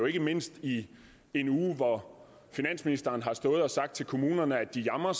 ikke mindst i en uge hvor finansministeren har stået og sagt til kommunerne at de jamrer